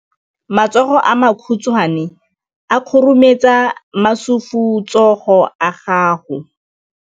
Matsogo a makhutshwane a khurumetsa masufutsogo a gago.